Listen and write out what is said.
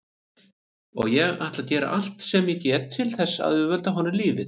Og ég ætla að gera allt sem ég get til þess að auðvelda honum lífið.